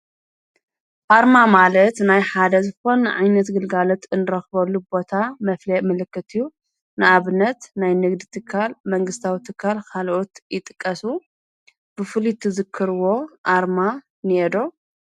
ኣርማ ማለየት ናይ ሓደ ዝፎን ዓይነት ግልጋለት እንረኽበሉ ቦታ መፍልየ መለክትዩ ንኣብነት ናይ ንግድ እትካል መንግሥታዊትካል ኻልኦት ይጥቀሱ ብፍሊት ዝክርዎ ኣርማ ኔዶ።